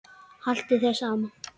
Haltu þér saman